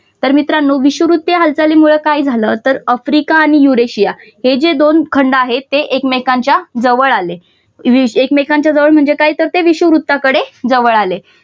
तर मित्रांनो विषुववृत्तीय हालचालींमुळे काय झालं तर आफ्रिका आणि यूरेशिया हे जे दोन खंड आहेत ते एकमेकांच्या जवळ आले एकमेकांच्या जवळ म्हणजे काय तर ते विषुववृत्ताकडे जवळ आले.